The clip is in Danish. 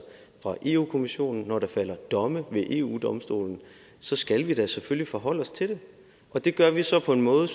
fra europa kommissionen og når der falder domme ved eu domstolen så skal vi da selvfølgelig forholde os til det og det gør vi så på en måde